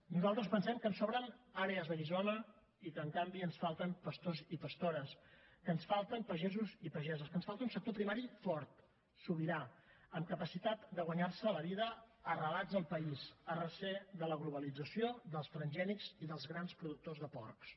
nosaltres pensem que ens sobren àrees de guissona i que en canvi ens falten pastors i pastores que ens falten pagesos i pageses que ens falta un sector primari fort sobirà amb capacitat de guanyar se la vida arrelats al país a recer de la globalització dels transgènics i dels grans productors de porcs